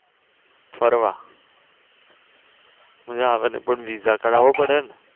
ફરવા ન્યા આગળ કોઇક VIsa કઢાવો પડે ને